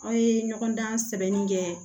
Aw ye ɲɔgɔndan sɛbɛnni kɛ